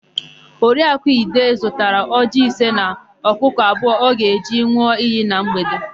Oriakụ Ide zụtara ọjịị ise na ọkụkụ abụọ ọ ga-eji n̄ụọ iyi na mgbede.